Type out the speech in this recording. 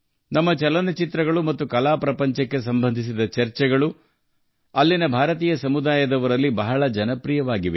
ನಮ್ಮ ಚಲನಚಿತ್ರಗಳು ಮತ್ತು ಕಲಾ ಜಗತ್ತಿಗೆ ಸಂಬಂಧಿಸಿದ ಚರ್ಚೆಗಳು ಅಲ್ಲಿನ ಭಾರತೀಯ ಸಮುದಾಯದಲ್ಲಿ ಬಹಳ ಜನಪ್ರಿಯವಾಗಿವೆ